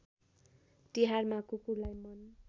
तिहारमा कुकुरलाई मन